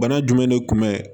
Bana jumɛn de kun bɛ